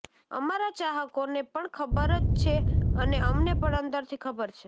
અમારા ચાહકોને પણ ખબર જ છે અને અમને પણ અંદરથી ખબર છે